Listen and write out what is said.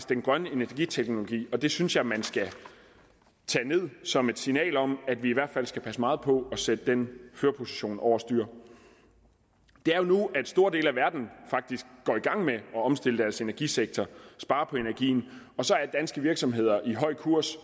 den grønne energiteknologi det synes jeg man skal tage med som et signal om at vi skal passe meget på at sætte den førerposition over styr det er jo nu at store dele af verden faktisk går i gang med at omstille deres energisektor spare på energien og så er danske virksomheder i høj kurs